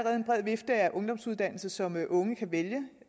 er en bred vifte af ungdomsuddannelser som unge kan vælge